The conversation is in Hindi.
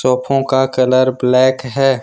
कफो का कलर ब्लैक है।